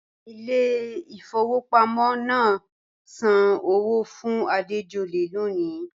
Ìlẹ̀ ifọwọ̀ pàmọ̀ náà ǹ sàn ọwọ́ fún Àdéjọ̀lẹ̀ lọ́ní